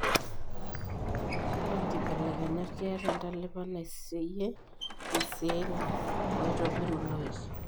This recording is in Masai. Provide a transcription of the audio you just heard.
Ore inkibelekenyat keeta entalipa naiseyie iceelli oitobiru iloik.